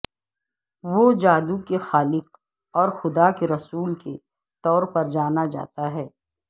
وہ جادو کے خالق اور خدا کے رسول کے طور پر جانا جاتا ہے